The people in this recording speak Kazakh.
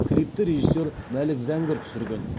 клипті режиссер мәлік зәңгір түсірген